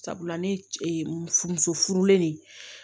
Sabula ne furu muso furulen de ye